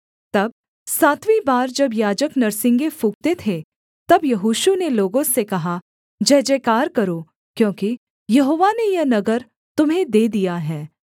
तब सातवीं बार जब याजक नरसिंगे फूँकते थे तब यहोशू ने लोगों से कहा जयजयकार करो क्योंकि यहोवा ने यह नगर तुम्हें दे दिया है